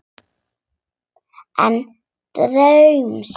Án draums.